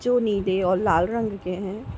जो नीले और लाल रंग के हैं।